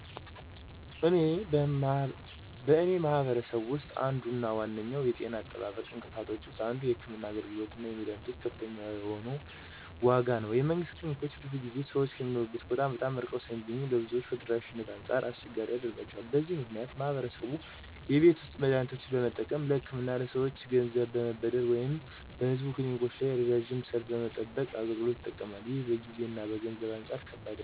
በእኔ ማህበረሰብ ውስጥ አንዱ እና ዋነኛው የጤና አጠባበቅ እንቅፋቶች ውስጥ አንዱ የሕክምና አገልግሎቶች እና የመድኃኒቶች ከፍተኛ የሆነ ዋጋ ነው። የመንግስት ክሊኒኮች ብዙውን ጊዜ ሰዎች ከሚኖሩበት ቦታ በጣም ርቀው ስለሚገኙ ለብዙዎች ከተደራሽነት አንጻር አስቸጋሪ ያደርጋቸዋል። በዚህ ምክንያት ማህበረሰቡ የቤት ውስጥ መድሃኒቶችን በመጠቀም፣ ለህክምና ከሰወች ገንዘብ በመበደር ወይም በህዝብ ክሊኒኮች ላይ ረዣዥም ሰልፍ በመጠባበቅ አገልግሎቱ ይጠቀማል። ይህም ከጊዜ እና ከገንዘብ አንጻር ከባድ ያደርገዋል።